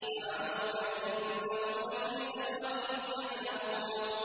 لَعَمْرُكَ إِنَّهُمْ لَفِي سَكْرَتِهِمْ يَعْمَهُونَ